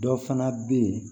Dɔ fana bɛ yen